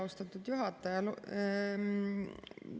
Austatud juhataja!